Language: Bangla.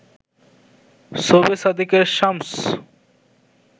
সোবে সাদেকের শামস